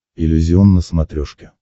иллюзион на смотрешке